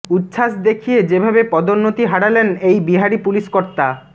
উচ্ছ্বাস দেখিয়ে যেভাবে পদোন্নতি হারালেন এই বিহারী পুলিশ কর্তা